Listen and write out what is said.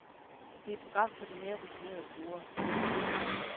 Det er et program for de mere rutinerede brugere.